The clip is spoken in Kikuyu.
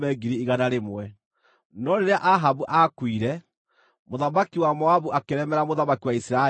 No rĩrĩa Ahabu aakuire, mũthamaki wa Moabi akĩremera mũthamaki wa Isiraeli.